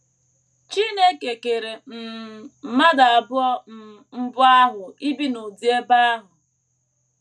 Chineke kere um mmadụ abụọ um mbụ ahụ ibi n’ụdị ebe ahụ.